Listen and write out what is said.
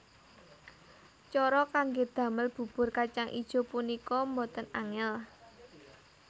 Cara kanggé damel bubur kacang ijo punika boten angèl